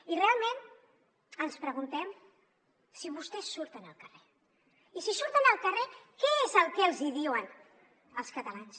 i realment ens preguntem si vostès surten al carrer i si surten al carrer què és el que els hi diuen els catalans